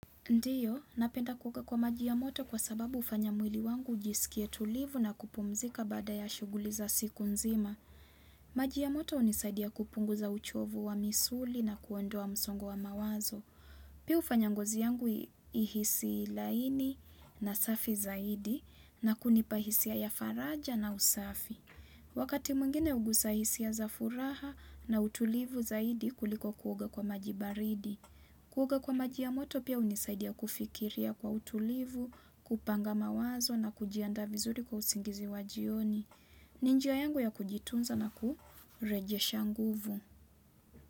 Ndiyo, napenda kuoga kwa maji ya moto kwa sababu hufanya mwili wangu ujisikie tulivu na kupumzika baada ya shughuli za siku nzima. Maji ya moto hunisaidia kupunguza uchovu wa misuli na kuondoa msongo wa mawazo. Piu hufanya ngozi yangu ihisi laini na safi zaidi na kunipa hisia ya faraja na usafi. Wakati mwingine hugusa hisia za furaha na utulivu zaidi kuliko kuoga kwa maji baridi. Kuoga kwa maji ya moto pia hunisaidia kufikiria kwa utulivu, kupanga mawazo na kujiandaa vizuri kwa usingizi wa jioni. Ni njia yangu ya kujitunza na kurejesha nguvu.